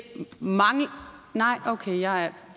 nej okay jeg